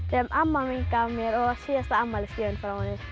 sem amma mín gaf mér og var síðasta afmælisgjöfin frá henni